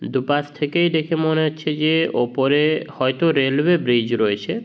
দুপাশ থেকেই দেখে মনে হচ্ছে যে ওপরে হয়তো রেলওয়ে ব্রিজ রয়েছে।